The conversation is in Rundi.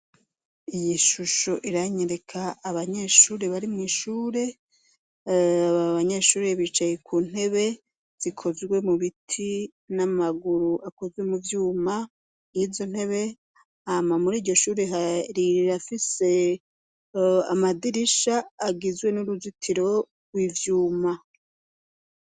Iyishusho iranyereka abanyeshure bari mw'ishure, abanyeshuri bicaye kuntebe zikozwe mubiti n'amaguru akozwe muvyuma y'izontebe. Hama mur'iyoshure rirafise amadirisha agizwe n'uruzitiro rw'ivyuma.